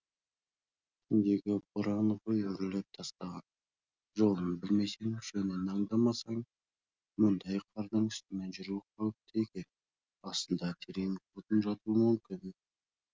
түндегі боран ғой үрлеп тастаған жолын білмесең жөнін аңдамасаң мұндай қардың үстімен жүру қауіпті екен астында терең құрдым жатуы мүмкін